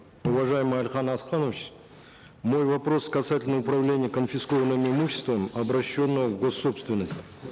уважаемый алихан асканович мой вопрос касательно управления конфискованным имуществом обращенным в гос собственность